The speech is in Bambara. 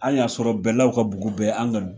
An y'a sɔrɔ bɛlaw ka bugu bɛɛ an ŋa